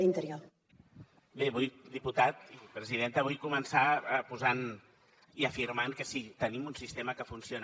diputat i presidenta vull començar posant i afirmant que sí que tenim un sistema que funciona